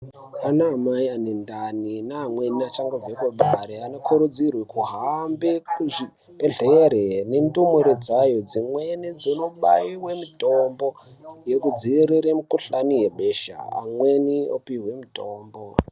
Ana amai ane ndani neamweni achangobve kubare anokurudzirwe kuhambe kuzvibhedhlere nendumure dzayo. Dzimweni dzonobaive mutombo yekudzivirire mikuhlani yebesha amweni opihwe mutombo.